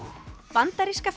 bandaríska